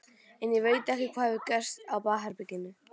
En ég veit ekki hvað hefur gerst á baðherberginu.